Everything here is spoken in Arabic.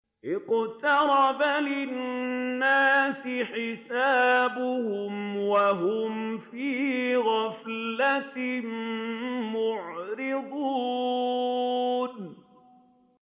اقْتَرَبَ لِلنَّاسِ حِسَابُهُمْ وَهُمْ فِي غَفْلَةٍ مُّعْرِضُونَ